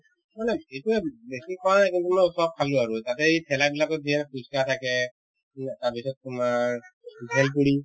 মানে এতিয়া বেছিকৈ কিন্তু মই চপ খালো আৰু তাতে এই ঠেলা বিলাকত দিয়া phuchka থাকে তাৰপিছত তোমাৰ bhelpuri